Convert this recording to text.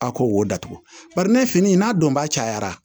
A ko wo datugu bari ne fini n'a donba cayara